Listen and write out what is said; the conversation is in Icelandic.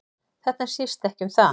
Þetta snýst ekki um það